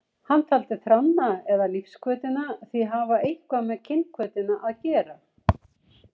Hann taldi þránna eða lífshvötina því hafa eitthvað með kynhvötina að gera.